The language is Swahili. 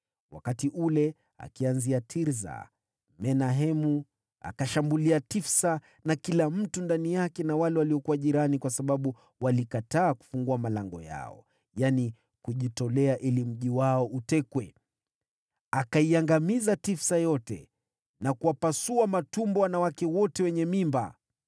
Wakati ule, akianzia Tirsa, Menahemu alishambulia Tifsa na kila mtu ndani yake, na wale waliokuwa maeneo jirani, kwa sababu walikataa kufungua malango yao. Akaiangamiza Tifsa yote, na kuwapasua matumbo wanawake wote wenye mimba.